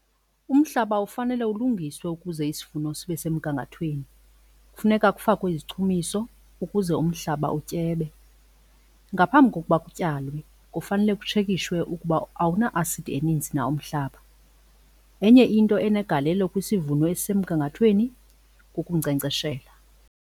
Umhlaba ufanele ulungiswe ukuze isivuno sibe semgangathweni, kufuneka kufakwe izichumiso ukuze umhlaba utyebe. Ngaphambi kokuba kutyalwe kufanele kutshekishwe ukuba awuna-asidi eninzi na umhlaba. Enye into enegalelo kwisivuno esisemgangathweni kukunkcenkceshela.